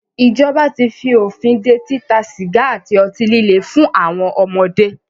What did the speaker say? Ìjọba tí fí òfin dé títa sìgá àti ọtí líle fún àwọn ọmọdé.